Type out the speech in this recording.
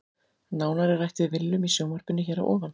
Nánar er rætt við Willum í sjónvarpinu hér að ofan.